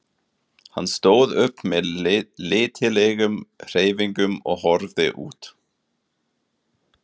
Hann stóð upp með letilegum hreyfingum og horfði út.